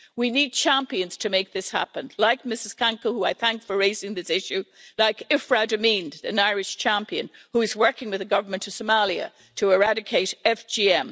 We need champions to make this happen, like Ms Kanko, who I thank for raising this issue, like Ifrah Ahmed, an Irish champion who is working with the government of Somalia to eradicate FGM.